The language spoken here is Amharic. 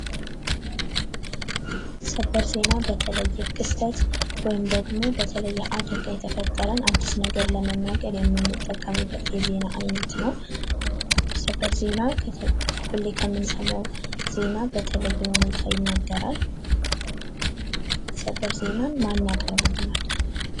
ሰበር ዜና በተለየ ክስተት ወይም ደግሞ በተለየ አደጋ የተፈጠረን አድስ ነገር ለመናገር የምንጠቀምበት የዜና አይነት ነው። ሰበር ዜና ሁሌ ከምንሰማው ዜና በተለየ ሁኔታ ይነገራል። ሰበር ዜናን ማን ያቀርብልናል?